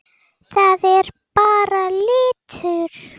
Þetta er bara litur.